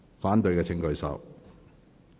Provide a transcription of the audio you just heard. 反對的請舉手。